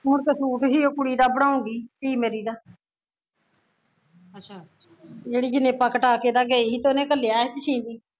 ਹੁਣ ਤੇ ਸੂਟ ਸੀ ਕੁੜੀ ਦਾ ਬਣਾਉਗੀ ਧੀ ਮੇਰੀ ਦਾ ਜਿਹੜੀ ਜਣੇਪਾ ਕਟਾ ਕੇ ਤਾਂ ਗਈ ਸੀ ਤੇ ਉਹਨੇ ਘੱਲਿਆ ਸੀ ਵੀ ਸ਼ੀਦੀ